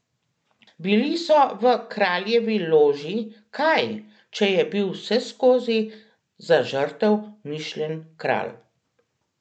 Bili so v kraljevi loži, kaj, če je bil vseskozi za žrtev mišljen kralj?